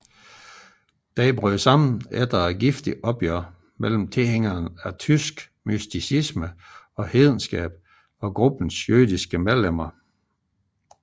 Den brød sammen efter et giftigt opgør mellem tilhængere af tysk mysticisme og hedenskab og gruppens jødiske medlemmer